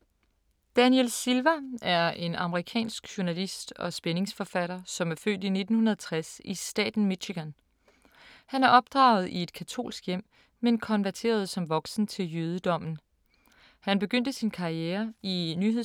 Daniel Silva er en amerikansk journalist og spændingsforfatter, som er født i 1960 i staten Michigan. Han er opdraget i et katolsk hjem, men konverterede som voksen til jødedommen.